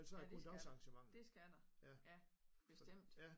Ja dét skal der dét skal der bestemt